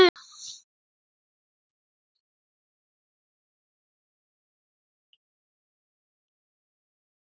Hún hefur aðeins verið sjálfri sér góð.